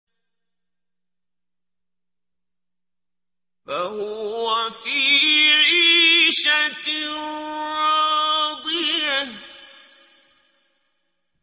فَهُوَ فِي عِيشَةٍ رَّاضِيَةٍ